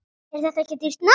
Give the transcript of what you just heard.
Er þetta ekki dýrt nám?